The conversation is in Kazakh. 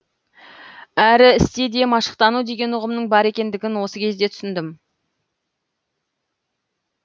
әрі істе де машықтану деген ұғымның бар екендігін осы кезде түсіндім